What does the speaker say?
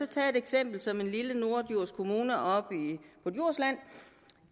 tage et eksempel som den lille norddjurs kommune oppe på djursland